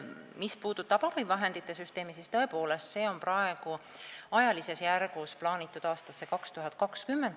Mis puudutab abivahendite süsteemi, siis selle valmimine on praegu plaanitud aastasse 2020.